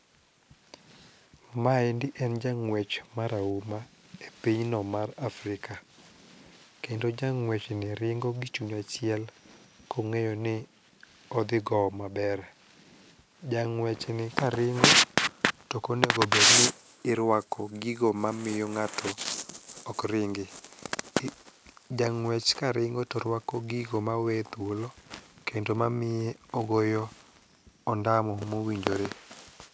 Maendi en jang'wech marahuma e pinyno mar Afrika, kendo jang'wechni ringo gi chuny achiel kong'eyo ni odhi gowo maber. Jang'wechni karingo tokonego bedni irwako gigo mamiyo ng'ato okringi. Jang'wech karingo to rwako gigo maweye thuolo kendo mamiye ogoyo ondamo mowinjore.